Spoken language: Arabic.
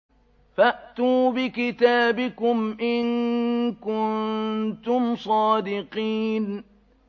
فَأْتُوا بِكِتَابِكُمْ إِن كُنتُمْ صَادِقِينَ